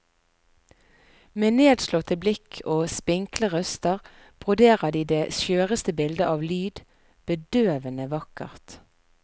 Med nedslåtte blikk og spinkle røster broderer de det skjøreste bilde av lyd, bedøvende vakkert.